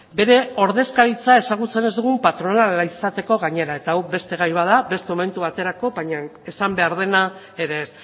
bere ordezkaritza ezagutzen ez dugun patronala izateko gainera eta hau beste gai bat da beste momentu baterako baina esan behar dena ere ez